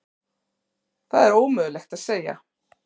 Það er ómögulegt að segja.